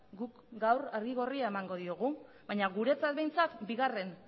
guk gaur argi gorria emango diogu baina guretzat behintzat bigarren